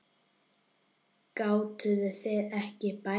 Gátuð þið ekki beðið aðeins?